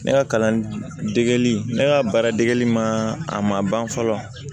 Ne ka kalandegeli ne ka baara dege ma a ma ban fɔlɔ